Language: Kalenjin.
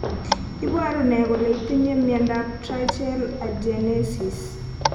Iporu ne kole itinye miondap Tracheal agenesis?